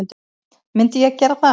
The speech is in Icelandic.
Myndi ég gera það?